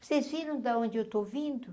Vocês viram da onde eu estou vindo?